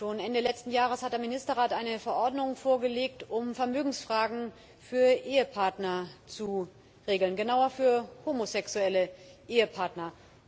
Schon Ende letzten Jahres hat der Ministerrat eine Verordnung vorgelegt, um Vermögensfragen für Ehepartner zu regeln genauer für homosexuelle Ehepartner.